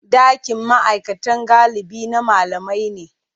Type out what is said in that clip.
Ɗakin ma'aikata galibi na malamai ne.